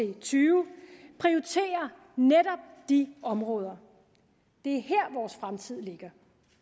og tyve prioriterer netop de områder det er her vores fremtid ligger